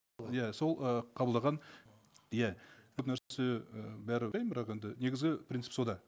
иә сол і қабылдаған иә бірақ енді негізі принцип сонда